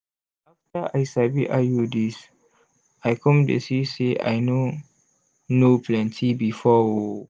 afta i sabi iuds i com de see say i no know plenty before o